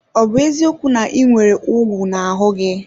Ọ bụ eziokwu na ị nwere ugwu n'ahụ gị?